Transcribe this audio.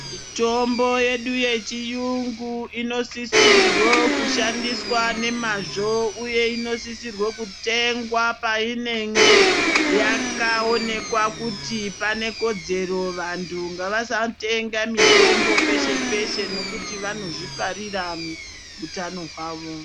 Mitombo yedu yechiyungu inosisirwa kushandiswa ngemazvo uye inosisirwa kutengwa painenge yakaonekwa kuti pane kodzero. Vantu ngavasatenga mitombo peshe peshe ngekuti vanozviparira hutano hwavo.